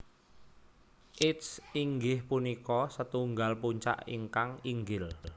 Its inggih punika setunggal puncak ingkang inggil